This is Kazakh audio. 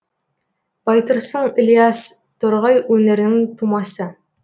байтұрсын ілияс торғай өңірінің тумасы